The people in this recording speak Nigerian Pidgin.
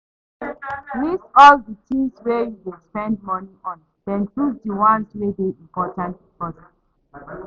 List all di things wey you dey spend money on then choose di ones wey dey important first